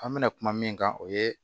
An bɛna kuma min kan o ye